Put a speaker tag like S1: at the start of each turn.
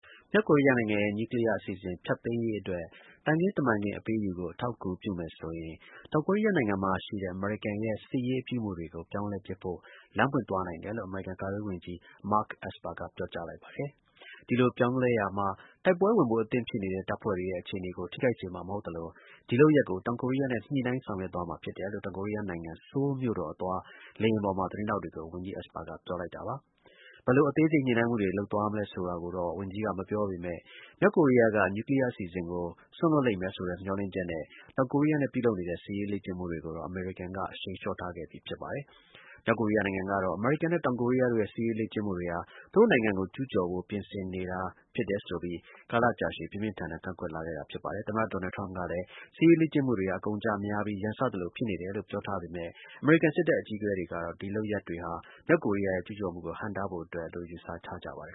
S1: မြောက်ကိုရီးယားနိုင်ငံရဲ့ နျူးကလီးယားအစီအစဉ် ဖျက်သိမ်းရေးအတွက် သံခင်းတမန်ခင်း အပေးအယူကို အထောက်အကူဖြစ်မယ်ဆိုရင် တောင်ကိုရီးယားနိုင်ငံမှာ ပြုလုပ်နေတဲ့ အမေရိကန်ရဲ့ စစ်ရေး အပြုအမူတွေကို ပြောင်းလဲပစ်ဖို့ လမ်းပွင့် သွားနိုင်တယ်လို့ အမေရိကန် ကာကွယ်ရေးဝန်ကြီး Mark Esper က ပြောကြားလိုက်ပါတယ်။ ဒီလို ပြောင်းလဲရာမှာ တိုက်ပွဲဝင်ဖို့ အသင့်ဖြစ်နေတဲ့ တပ်ဖွဲ့တွေရဲ့ အခြေအနေကို ထိခိုက်စေမှာ မဟုတ်သလို၊ ဒီလုပ်ရပ်ကို တောင်ကိုရီးယား အစိုးရနဲ့ ညှိနှိုင်းဆောင်ရွက်သွားမှာ ဖြစ်တယ်လို့ တောင်ကိုရီးယားနိုင်ငံ ဆိုးလ်မြို့တော်အသွား လေယာဉ်ပေါ်မှာ သတင်းထောက်တွေကို ဝန်ကြီး Esper က ပြောလိုက်တာပါ။ ဘယ်လို အသေးစိတ် ညှိနှိုင်းမှုတွေ လုပ်သွားမလဲဆိုတာကို ဝန်ကြီးက မပြောပေမဲ့ ၊ မြောက်ကိုရီးယားက နျူးကလီးယားအစီအစဉ်ကို စွန့်လွှတ် လိမ့်မယ်ဆိုတဲ့ မျှော်လင့်ချက်နဲ့ တောင်ကိုရီးယားနဲ့ ပြုလုပ်နေတဲ့ စစ်ရေးလေ့ကျင့်မှုတွေကိုတော့ အမေရိကန်က အရှိန် လျှော့ထားခဲ့ပြီး ဖြစ်ပါတယ်။ မြောက်ကိုရီးယားနိုင်ငံကတော့ အမေရိကန်နဲ့ တောင်ကိုရီးယားတို့ရဲ့ စစ်ရေး လေ့ကျင့်မှုတွေဟာ သူတို့နိုင်ငံကို ကျူးကျော်ဖို့ ပြင်ဆင်နေတာ ဖြစ်တယ်ဆိုပြီး ကာလကြာရှည် ပြင်းပြင်းထန်ထန် ကန့်ကွက်လာခဲ့တာ ဖြစ်ပါတယ်။ သမ္မတ Donald Trump ကလည်း စစ်ရေးလေ့ကျင့်မှုတွေဟာ အကုန်အကျများပြီး ရန်စသလိုဖြစ်နေတယ်လို့ ပြောထားပေမဲ့ အမေရိကန်စစ်တပ် အကြီးအကဲတွေကတော့ ဒီလုပ်ရပ်တွေဟာ မြောက်ကိုရီးယားရဲ့ကျူးကျော်မှုကို ဟန့်တားဖို့အတွက်လို့ ယူဆကြပါတယ်